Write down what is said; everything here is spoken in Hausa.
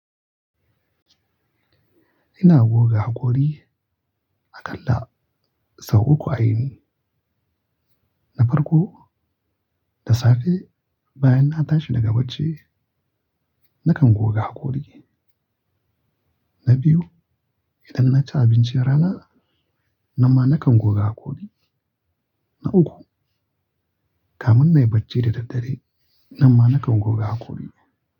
Ina goga hakori. Akalla sau uku a yini. Na farko, da safe bayan na tashi daga bacci, nakan goga hakori. Na biyu, idan na ci abincin rana, nanma nakan goga hakori. Na uku, kamun nai bacci da daddare, nanma nakan goga hakori.